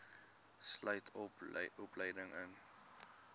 boov sluit opleiding